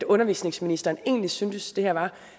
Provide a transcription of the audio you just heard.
undervisningsministeren egentlig syntes det her var